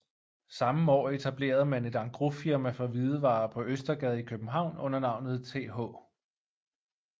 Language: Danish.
Samme år etablerede man et engrosfirma for hvidevarer på Østergade i København under navnet Th